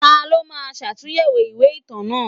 Ta ló máa ṣàtúnyẹ̀wò ìwé ìtàn náà?